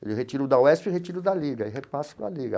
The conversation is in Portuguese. Ele retira o da UESP e retira o da Liga, e repassa com a Liga.